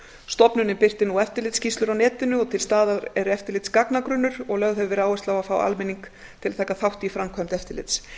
stofnunin birtir eftirlitsskýrslur á netinu til staðar er eftirlitsgagnagrunnur og lögð hefur verið áhersla á að fá almenning til að taka þátt í framkvæmd eftirlits